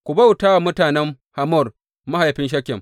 Ku bauta wa mutanen Hamor, mahaifin Shekem!